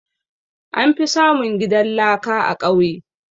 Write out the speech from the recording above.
An fi samun gidan laka a ƙauye